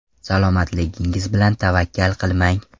Salomatligingiz bilan tavakkal qilmang!.